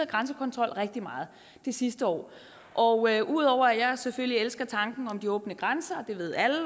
grænsekontrol rigtig meget de sidste år og ud over at jeg selvfølgelig elsker tanken om de åbne grænser det ved alle og